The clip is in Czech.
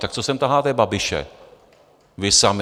Tak co sem taháte Babiše vy sami?